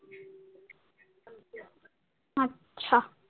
আচ্ছা।